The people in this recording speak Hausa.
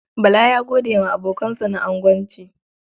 Bala ya gode wa abokansa na agonci.